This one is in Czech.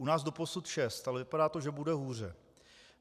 U nás doposud 6, ale vypadá to, že bude hůře.